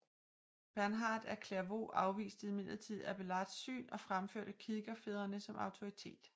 Bernhard af Clairvaux afviste imidlertid Abélards syn og fremførte kirkefædrene som autoritet